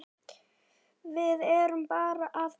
Við erum bara að bíða.